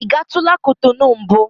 Ị gatụla Kotonu mbụ?